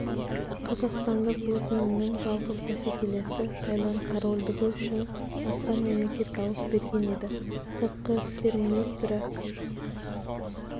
қазақстандық өтінімнің жалғыз бәсекелесі таиланд корольдігі үшін астам мемлекет дауыс берген еді сыртқы істер министрі